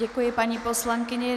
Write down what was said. Děkuji paní poslankyni.